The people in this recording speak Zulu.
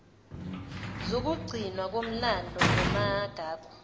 zokugcinwa komlando namagugu